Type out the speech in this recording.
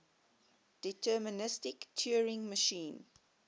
deterministic turing machine